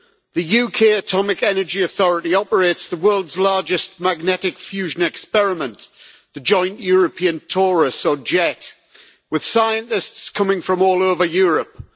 The UK Atomic Energy Authority operates the world's largest magnetic fusion experiment the Joint European Torus with scientists coming from all over Europe.